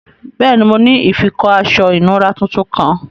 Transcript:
Bẹẹni, mo ni ifikọ̀ aṣọ̀ ìnùra tuntun kan.